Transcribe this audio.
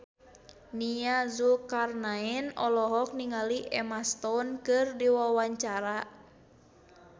Nia Zulkarnaen olohok ningali Emma Stone keur diwawancara